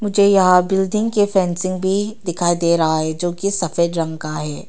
मुझे यहां बिल्डिंग के फेंसिंग भी दिखाई दे रहा है जोकि सफेद रंग का है।